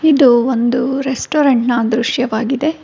ಒಂದು ಬೆಟ್ಟದ ಪ್ರದೇಶದ ಪ್ರದೇಶದಲ್ಲಿ ಇಂದ--